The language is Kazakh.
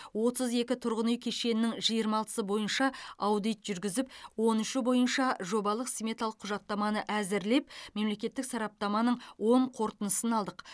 отыз екі тұрғын үй кешенінің жиырма алтысы бойынша аудит жүргізіп он үші бойынша жобалық сметалық құжаттаманы әзірлеп мемлекеттік сараптаманың оң қорытындысын алдық